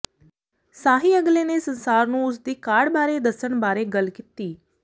ਸਾਹੀ ਅਗਲੇ ਨੇ ਸੰਸਾਰ ਨੂੰ ਉਸ ਦੀ ਕਾਢ ਬਾਰੇ ਦੱਸਣ ਬਾਰੇ ਗੱਲ ਕੀਤੀ